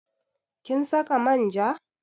Kin saka manja?